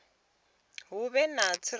hu vhe na u tsireledzea